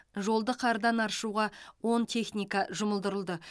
жолды қардан аршуға он техника жұмылдырылды